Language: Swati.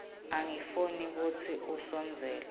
angifuni kutsi asondzele